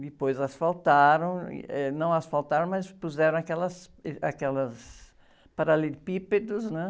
Depois asfaltaram, e, eh, não asfaltaram, mas puseram aquelas, êh, aquelas, paralelepípedos, né?